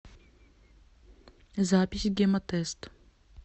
запись гемотест